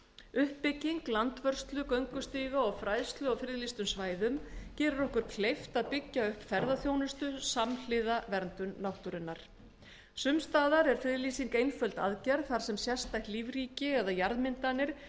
uppbygging landvörslu göngustíga og fræðslu á friðlýstum svæðum gerir okkur kleift að byggja upp ferðaþjónustu samhliða vernd náttúrunnar sums staðar er friðlýsing einföld aðgerð þar sem sérstætt lífríki eða jarðmyndanir